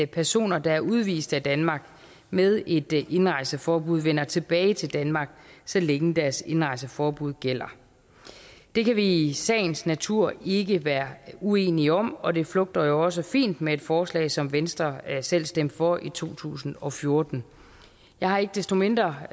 personer der er udvist af danmark med et indrejseforbud vender tilbage til danmark så længe deres indrejseforbud gælder det kan vi i sagens natur ikke være uenige om og det flugter jo også fint med et forslag som venstre selv stemte for i to tusind og fjorten jeg har ikke desto mindre